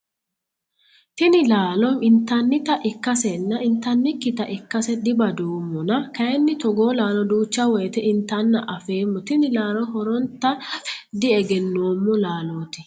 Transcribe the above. Tini laalo intannita ikkasenna intannikkita ikkase dibadoomona kayiini togoo laalo duucha woyiite intanna afeemmo tini laalo horonta afe di"egenoommo laalooti.